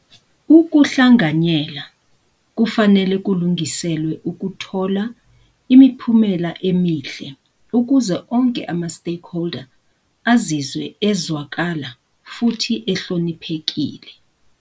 Ukuhlanganyela kufanele kulungiselwe ukuthola imiphumela emihle ukuze onke ama-stakeholder azizwe ezwakala futhi ehloniphekile.